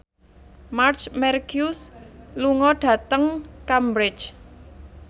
Marc Marquez lunga dhateng Cambridge